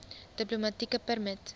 diplomatieke permit